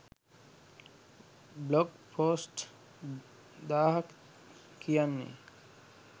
blog post දාහක් කියන්නෙ